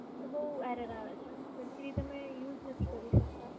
ત્યારે બોવ Error આવે છે સરખી રીતે અમે use નથી કરી શકતી.